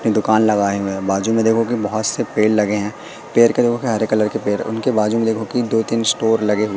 दुकान लगाए हुए हैं बाजू में देखो कि बहुत से पेड़ लगे हैं पेड़ के देखो कि हरे कलर के पेड़ उनके बाजू में देखो कि दो तीन स्टोर लगे हुए--